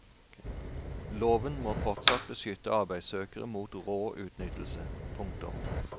Loven må fortsatt beskytte arbeidssøkere mot rå utnyttelse. punktum